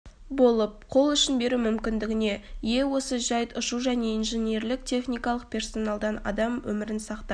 болып қол ұшын беру мүмкіндігіне ие осы жайт ұшу және инженерлік-техникалық персоналдан адам өмірін сақтап